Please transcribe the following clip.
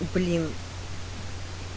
блин